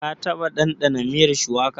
Ka taɓa ɗanɗana miyar shuwaka?